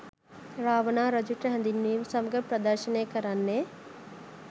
රාවණා රජුට හැඳින්වීම සමඟ ප්‍රදර්ශනය කරන්නේ